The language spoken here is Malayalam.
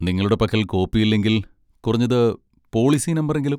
നിങ്ങളുടെ പക്കൽ കോപ്പി ഇല്ലെങ്കിൽ, കുറഞ്ഞത് പോളിസി നമ്പറെങ്കിലും.